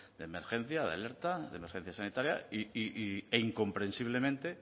de emergencia de alerta de emergencia sanitaria e incomprensiblemente